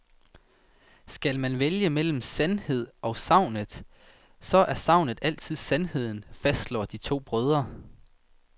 Skal man vælge mellem sandheden og sagnet, så er sagnet altid sandheden, fastslår de to brødre.